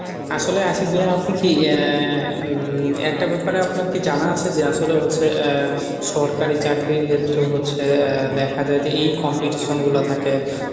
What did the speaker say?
আসলে আশিক ভাইয়া আপনি কী আহ একটা ব্যাপারে আপনার কী জানা আছে যে আসলে হচ্ছে আহ সরকারি চাকরির ক্ষেত্রেও হচ্ছে আহ দেখা যায় যে এই competition গুলা থাকে